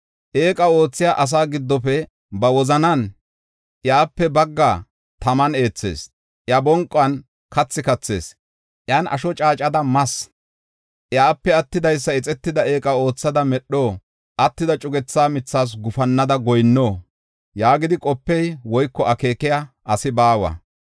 Eeqa oothiya asaa giddofe ba wozanan, “Iyape baggaa taman eethas; iya bonquwan kathi kathas; iyan asho caacada mas. Iyape attidaysa ixetida eeqa oothada medho? attida cugetha mithas gufannada goyinno?” yaagidi qopiya woyko akeekiya asi baawa.